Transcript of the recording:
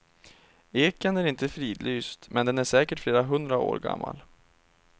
Eken är inte fridlyst, men den är säkert flera hundra år gammal.